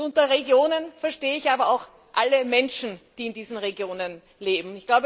Und unter Regionen verstehe ich aber auch alle Menschen, die in diesen Regionen leben.